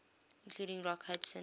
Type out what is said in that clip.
including rock hudson